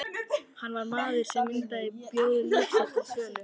Hann var maður sem myndi bjóða líf sitt til sölu.